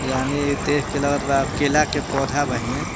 यानी इ देख के लगत बा केला के पौधा बाहीन।